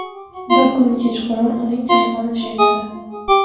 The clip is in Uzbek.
Bir kuni kechqurun uning telefoni jiringladi.